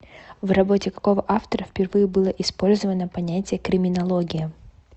в работе какого автора впервые было использовано понятие криминология